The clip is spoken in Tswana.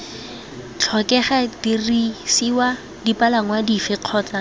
tlhokega didirisiwa dipalangwa dife kgotsa